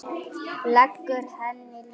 Leggur henni lið.